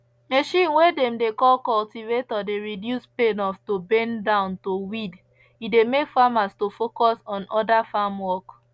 machine way dem dey call cultivator dey reduce pain of to bend down to weed e dey make farmers to focus on other farm work